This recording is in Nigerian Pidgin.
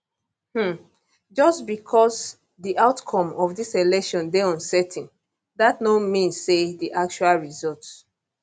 um just becos di outcome of dis election dey uncertain dat no mean say di actual result